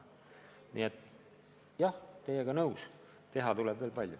Nii et jah, olen teiega nõus, teha tuleb veel palju.